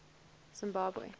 zimbabwe